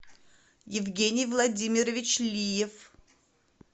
евгений владимирович лиев